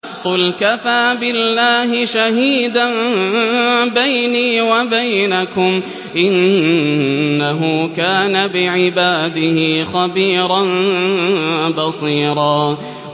قُلْ كَفَىٰ بِاللَّهِ شَهِيدًا بَيْنِي وَبَيْنَكُمْ ۚ إِنَّهُ كَانَ بِعِبَادِهِ خَبِيرًا بَصِيرًا